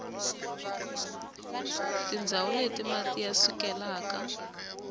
tindzawu leti mati ya sukelaka